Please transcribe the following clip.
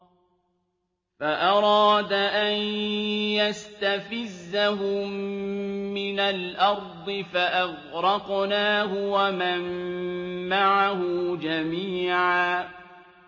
فَأَرَادَ أَن يَسْتَفِزَّهُم مِّنَ الْأَرْضِ فَأَغْرَقْنَاهُ وَمَن مَّعَهُ جَمِيعًا